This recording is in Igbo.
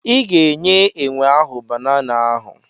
I ga-enye enwe ahụ banana ahụ.